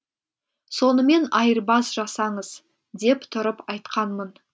сонымен айырбас жасаңыз деп тұрып айтқанмын